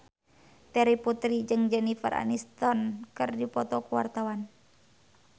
Terry Putri jeung Jennifer Aniston keur dipoto ku wartawan